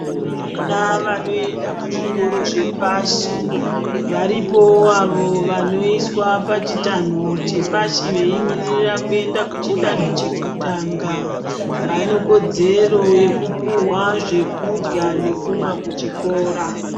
Vana vanoenda kuzvikoro zvepashi, varipowo avo vanoiswa pachitanho chepashi veimirira kuenda kuchidanho chekutanga, vane kodzero yekupuwa zvekudya nekumwa kuchikora.